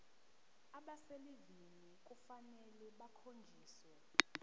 abaselivini kufanele bakhonjiswe